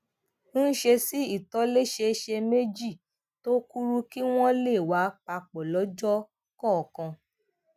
ń ṣe sí ìtòlésẹẹsẹ méjì tó kúrú kí wón lè wà papò lójó kòòkan